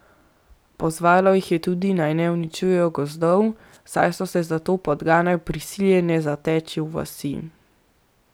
Pozvalo jih je tudi, naj ne uničujejo gozdov, saj so se zato podgane prisiljene zateči v vasi.